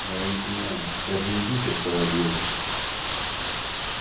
но я не понимаю ведь даже невидимки открывают двери